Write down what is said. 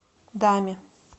даме